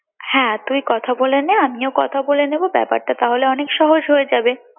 হ্যাঁ তুই কথা বলে নে আমিও কথা বলে নেবো ব্যাপারটা তাহলে অনেক সহজ হয়ে যাবে